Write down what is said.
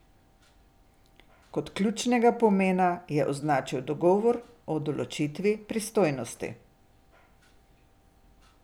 Kot ključnega pomena je označil dogovor o določitvi pristojnosti.